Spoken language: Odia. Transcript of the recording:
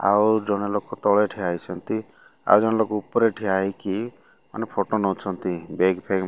ଆଉ ଜଣେ ଲୋକ ତଳେ ଠିଆ ହେଇଛନ୍ତି ଆଉ ଜଣେ ଲୋକ ଉପରେ ଠିଆ ହୋଇକି ମାନେ ଫୋଟୋ ନଉଛନ୍ତି ବ୍ୟାଗ୍ ଫେଗ୍ --